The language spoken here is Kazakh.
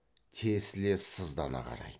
тесіле сыздана қарайды